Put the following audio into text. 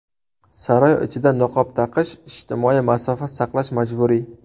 Saroy ichida niqob taqish, ijtimoiy masofa saqlash majburiy.